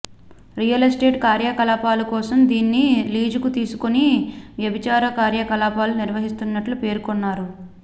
real estate కార్యకలాపాల కోసం దీన్ని లీజుకు తీసుకుని వ్యభిచార కార్యకలాపాలు నిర్వహిస్తున్నట్లు పేర్కొన్నారు